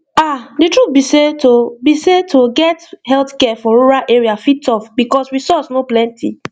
ah the truth be sey to be sey to get healthcare for rural area fit tough because resource no plenty